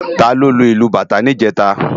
Táló ló lú ilú bátã nijètá?